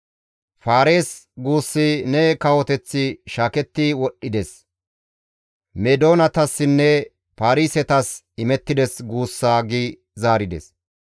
Faaris! Guussi, ‹Ne kawoteththi shaaketti wodhdhides; Meedoonetassinne Paarisetas imettides› guussa» gi zaarides.